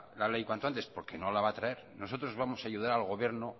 la ley cuanto antes porque no la va a traer nosotros vamos a ayudar al gobierno